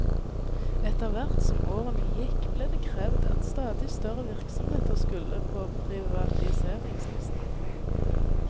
Etter hvert som årene gikk ble det krevd at stadig større virksomheter skulle på privatiseringslisten.